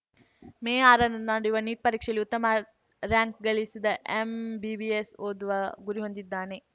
ಮೇ ಆರರಂದು ನಡೆಯುವ ನೀಟ್‌ ಪರೀಕ್ಷೆಯಲ್ಲಿ ಉತ್ತಮ ರಾರ‍ಯಂಕ್‌ ಗಳಿಸಿದ ಎಂಬಿಬಿಎಸ್‌ ಓದುವ ಗುರಿ ಹೊಂದಿದ್ದಾನೆ